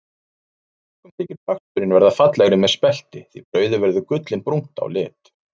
Mörgum þykir baksturinn verða fallegri með spelti því brauðið verður gullinbrúnt á lit.